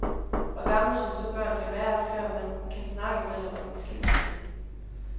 Hvor gammel synes du børn skal være før man kan snakke med dem om en skilsmisse?